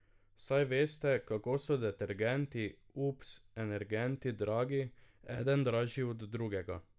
Saj veste, kako so detergenti, ups, energenti dragi, eden dražji od drugega.